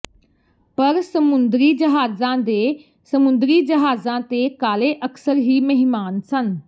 ਪਰ ਸਮੁੰਦਰੀ ਜਹਾਜ਼ਾਂ ਦੇ ਸਮੁੰਦਰੀ ਜਹਾਜ਼ਾਂ ਤੇ ਕਾਲੇ ਅਕਸਰ ਹੀ ਮਹਿਮਾਨ ਸਨ